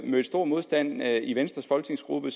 mødte stor modstand i venstres folketingsgruppe